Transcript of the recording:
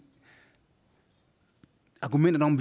at argumentet om